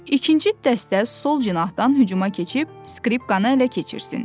İkinci dəstə sol cinahdan hücuma keçib skripkanı ələ keçirsin.